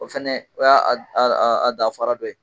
O fɛnɛ o y'a a d a d aa a danfara dɔ ye.